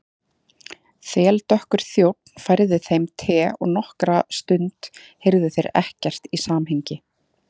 Þeldökkur þjónn færði þeim te og nokkra stund heyrðu þeir ekkert í samhengi.